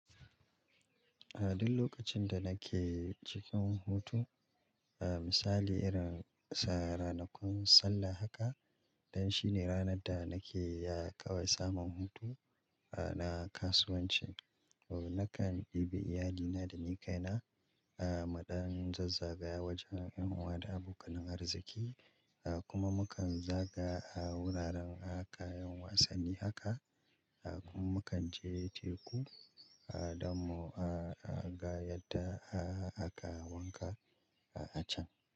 A duk lokacin da nake cikin hutu, misali irin sa ranakun sallah haka, dan shine ranar da nake ya, kawai samun hutu, ah, na kasuwanci. Nakan ɗebi iyalina da ni kaina, muɗan zazzagaya wajen ƴan uwa da abokanin arziƙi, kuma mukan zagaya ah, wuraren kayan wasanni haka, kuma mukan je, teku. Dan mu gayata aka wanka a can.